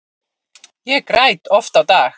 Ég græt oft á dag.